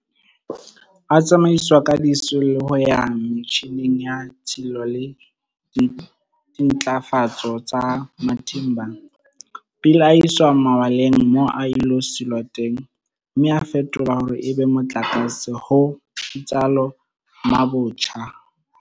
A tsamaiswa ka disiu le ho ya metjhineng ya tshilo le dintlafatso tsa Matimba, pele a iswa malwaleng moo a ilo silwa teng mme a fetolwa hore e be motlakase, ho itsalo Mabotja.